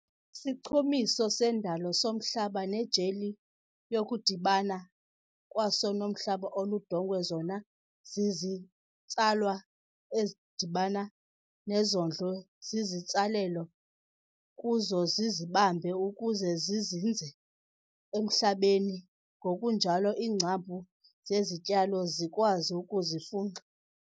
Isichumiso sendalo somhlaba nejeli yokudibana kwaso nomhlaba oludongwe zona zizitsalwa ezidibana nezondlo zezitsalelo-kuzo zizibambe ukuze zizinze emhlabeni ngokunjalo iingcambu zezityalo zikwazi ukuzifunxa.